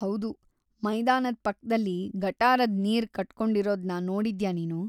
ಹೌದು, ಮೈದಾನದ್ ಪಕ್ದಲ್ಲಿ ಗಟಾರದ್ ನೀರ್‌ ಕಟ್ಕೊಂಡಿರೋದ್ನ ನೋಡಿದ್ಯಾ ನೀನು?